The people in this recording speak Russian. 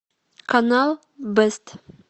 канал бест